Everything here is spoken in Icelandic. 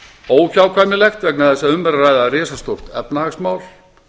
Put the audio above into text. óhjákvæmilegt vegna þess að um er að ræða risastórt efnahagsmál